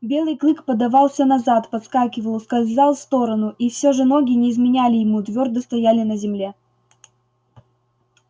белый клык подавался назад подскакивал ускользал в сторону и всё же ноги не изменяли ему твёрдо стояли на земле